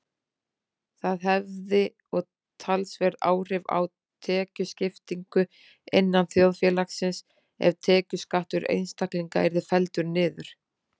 Það hefði og talsverð áhrif á tekjuskiptingu innan þjóðfélagsins ef tekjuskattur einstaklinga yrði felldur niður.